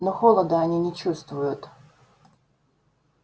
но холода они не чувствуют